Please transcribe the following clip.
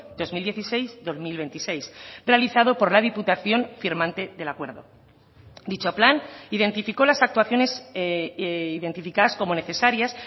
dos mil dieciséis dos mil veintiséis realizado por la diputación firmante del acuerdo dicho plan identificó las actuaciones identificadas como necesarias